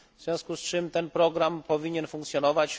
W związku z czym ten program powinien funkcjonować.